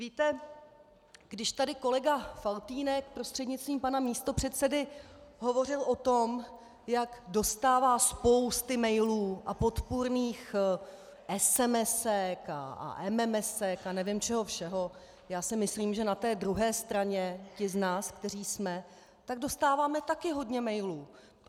Víte, když tady kolega Faltýnek, prostřednictvím pana místopředsedy, hovořil o tom, jak dostává spousty mailů a podpůrných SMS a MMS a nevím čeho všeho, já si myslím, že na té druhé straně ti z nás, kteří jsme, tak dostáváme taky hodně mailů.